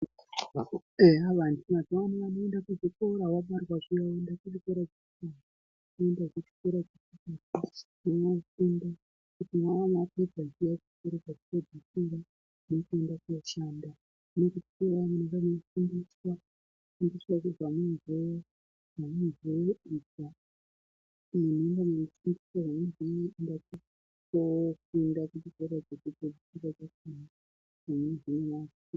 Eya vantu mazuwa ano vanoenda kuzvikora vabarwa zviyani vanoenda kuchikora vofunda vowana mabasa kanavapedza chikora chekupedzisira vanenge vaca neruzivo rwavanowana ku hikora chekupedzisira.